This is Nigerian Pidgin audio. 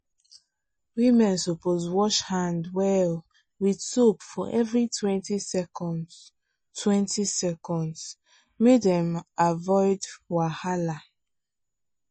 women suppose wash hand well with soap for everitwentysecondstwentyseconds make dem avoid wahala.